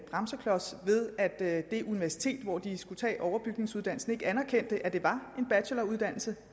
bremseklods ved at det universitet hvor de skulle tage overbygningsuddannelsen ikke anerkendte at det var en bacheloruddannelse